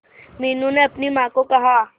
मीनू ने अपनी मां को कहा